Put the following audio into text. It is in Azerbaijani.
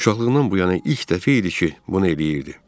Uşaqlığından bu yana ilk dəfə idi ki, bunu eləyirdi.